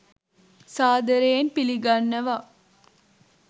සාද‍රයෙන් පිළිගන්නව!